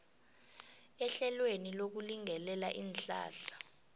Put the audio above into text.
ehlelweni lokulingelela iinhlahla